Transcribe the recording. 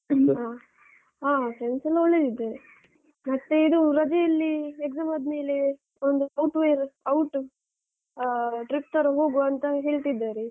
ಹ್ಮ ಆ ಆ friends ಎಲ್ಲ ಒಳ್ಳೆದಿದ್ದಾರೆ. ಮತ್ತೆ ಇದು ರಜೆಯಲ್ಲಿ exam ಆದ್ಮೇಲೆ ಒಂದು outwear out ಆ trip ತರ ಹೋಗುವ ಅಂತ ಹೇಳ್ತಿದ್ದಾರೆ.